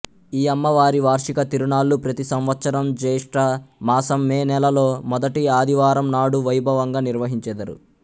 ఈ అమ్మవారి వార్షిక తిరునాళ్ళు ప్రతి సంవత్సరం జ్యేష్ట మాసం మే నెల లో మొదటి ఆదివారంనాడు వైభవంగా నిర్వహించెదరు